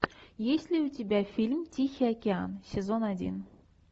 есть ли у тебя фильм тихий океан сезон один